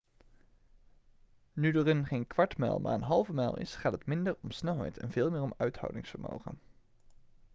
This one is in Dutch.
nu de run geen kwart mijl maar een halve mijl is gaat het minder om snelheid en veel meer om uithoudingsvermogen